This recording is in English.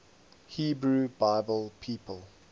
hebrew bible people